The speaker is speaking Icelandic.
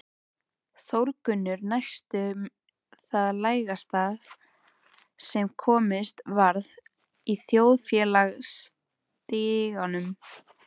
Þórgunnur næstum það lægsta sem komist varð í þjóðfélagsstiganum